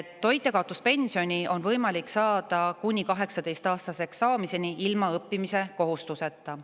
Toitjakaotuspensioni on võimalik saada kuni 18-aastaseks saamiseni ilma õppimiskohustuseta.